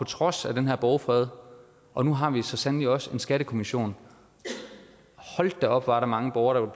trods af den her borgfred og nu har vi så sandelig også skattekommissionen hold da op hvor er der mange borgere